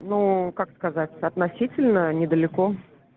ну как сказать относительно недалеко